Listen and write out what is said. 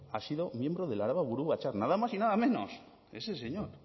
ha sido miembro del araba buru batzar nada más y nada menos ese señor